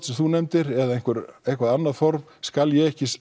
sem þú nefndir eða eitthvað annað form skal ég ekki